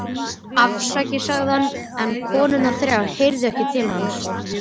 Hann varð ekki var við nokkra hreyfingu nærri sér.